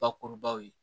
Bakurubaw ye